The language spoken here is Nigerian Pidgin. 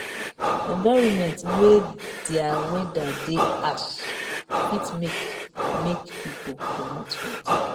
environment wey their weather de ash fit make make pipo comot for there